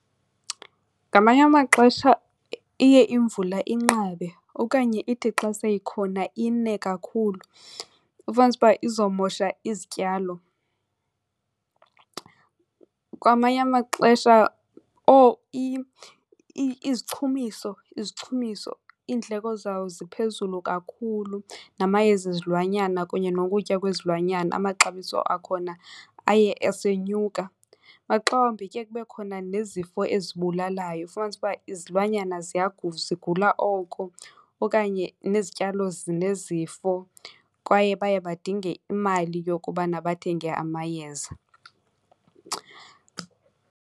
Ngamanye amaxesha iye imvula inqabe okanye ithi xa seyikhona ine kakhulu ufumanise uba izomosha izityalo. Kwamanye amaxesha izichumiso, izichumiso iindleko zayo ziphezulu kakhulu namayeza ezilwanyana kunye nokutya kwezilwanyana amaxabiso akhona aye esenyuka. Maxa wambi kuye kube khona nezifo ezibulalayo ufumanise uba izilwanyana zigula oko okanye nezityalo zinezifo kwaye baye badinge imali yokubana bathenge amayeza.